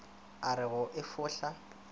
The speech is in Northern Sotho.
a re go e fohla